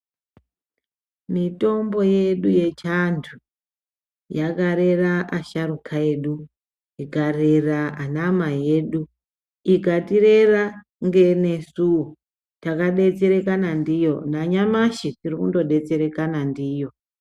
Mitombo yedu yechiantu yakarera acharuka edu ikarera anamai edu. Ikatirera ngenesuvo takabetsereka ndiyo nanyamashi tiri kundobetserekana ndiyo.